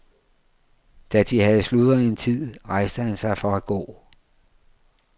Da de havde sludret en tid, rejste han sig for at gå.